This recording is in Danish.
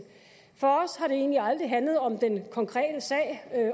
for os har det egentlig aldrig handlet om den konkrete sag